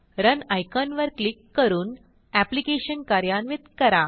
run icon वर click करून application कार्यान्वित करा